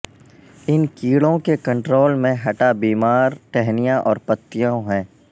ان کیڑوں کے کنٹرول میں ہٹا بیمار ٹہنیاں اور پتیوں ہیں